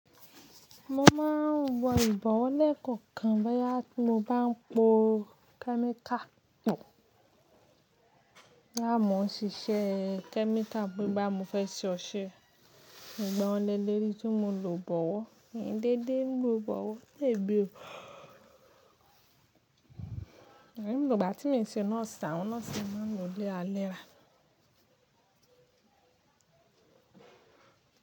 Mo máa ń wọ ìbọwọ́ lẹ́ẹ̀kọ̀kan boya bi tí mo bá ń po kẹ́míkà pò, lámò ṣiṣẹ́ kẹ́míkà pe boya mo fẹ́ ṣe ọṣẹ. Ìgbà ọ̀lẹ lérìí tí mo lò bọwọ́, kì í dédé ni mo lo bọwọ́, lè bí o. Ẹ̀yìn ni ìlù ìgbà tí mi ṣe nọ́ọ̀sì, àwọn nọ́ọ̀sì máa ń lo léra léra.